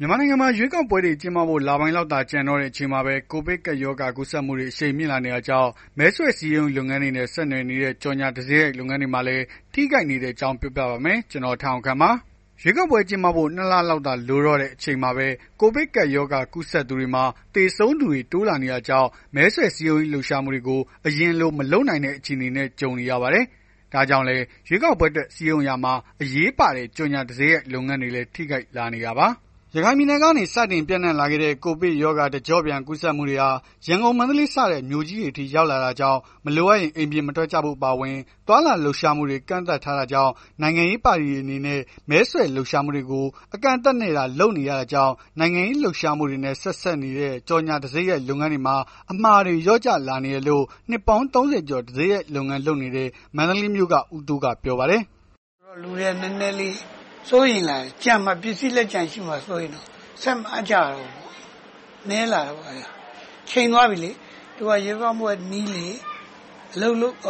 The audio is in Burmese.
မြန်မာနိုင်ငံမှာ ရွေးကောက်ပွဲတွေ ကျင်းပဖို့ လပိုင်းလောက်သာ ကျန်တော့တဲ့ အချိန်မှာပဲ ကိုဗစ်ကပ်ရောဂါ ကူးစက်မှုတွေ အရှိန်မြင့်လာနေတာကြောင့် မဲဆွယ်စည်းရုံးရေးလုပ်ငန်းတွေနဲ့ ဆက်နွယ်နေတဲ့ ကြော်ငြာတံဆိပ်ရိုက်လုပ်ငန်းတွေမှာလည်း ထိခိုက်နေတဲ့အကြောင်း ပြောပြပါမယ်။ ဗွီအိုအေမြန်မာပိုင်း သတင်းထောက် ကို ထက်အောင်ခန့် တင်ဆက်ပေးပါမယ်။ ရွေးကောက်ပွဲ ကျင်းပဖို့ ၂ လလောက်သာ လိုတော့တဲ့ အချိန်မှာပဲ ကိုဗစ်ကပ်ရောဂါ ကူးစက်သူတွေမှာ သေဆုံးသူတွေ တိုးလာနေတာကြောင့် မဲဆွယ်စည်းရုံးရေး လှုပ်ရှားမှုတွေကို အရင်လို မလုပ်နိုင်တဲ့ အခြေအနေနဲ့ ကြုံနေရပါတယ်။ ဒါကြောင့်လည်း ရွေးကောက်ပွဲအတွက် စည်းရုံးရာမှာ အရေးပါတဲ့ ကြော်ငြာတံဆိပ်ရိုက်လုပ်ငန်းတွေလည်း ထိခိုက်လာနေတာပါ။ ရခိုင်ပြည်နယ်ကနေ စတင်ပျံ့နှံ့လာခဲ့တဲ့ ကိုဗစ်ရောဂါ တကျော့ပြန် ကူးစက်မှုတွေဟာ ရန်ကုန်၊ မန္တလေးစတဲ့ မြို့ကြီးတွေအထိ ရောက်လာတာကြောင့် မလိုအပ်ရင် အိမ်ပြင်မထွက်ကြဖို့ အပါအဝင် သွားလာလှုပ်ရှားမှုတွေကို ကန့်သတ်ထားတာကြောင့် နိုင်ငံရေး ပါတီတွေ အနေနဲ့ မဲဆွယ်လှုပ်ရှားမှုတွေကို အကန့်အသတ်နဲ့သာ လုပ်နေကြရတာကြောင့် နိုင်ငံရေးလှုပ်ရှားမှုတွေနဲ့ ဆက်စပ်နေတဲ့ ကြော်ငြာတံဆိပ်ရိုက် လုပ်ငန်းတွေမှာ အမှာတွေ လျော့ကျလာနေတယ်လို့ နှစ်ပေါင်း ၃၀ ကျော် တံဆိပ်ရိုက် လုပ်ငန်းလုပ်နေတဲ့ မန္တလေးမြို့က ဦးတိုးက ပြောပါတယ်။ “လူတွေက နည်းနည်းလေး စိုးရိမ်လာတယ်။ ကျန်မှာ ပစ္စည်း လက်ကျန် ကျန်မှာ စိုးရိမ်နေကြတယ်။ ဆက်မအပ်ကြတော့ဘူးပေါ့။ နည်းလာတာပေါ့။ ချိန်သွားပြီလေ သူက ရွေးကောက်ပွဲ နီးလေ